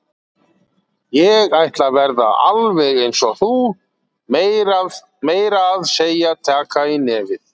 Ég ætla að verða alveg eins og þú, meira að segja taka í nefið.